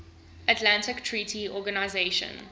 atlantic treaty organization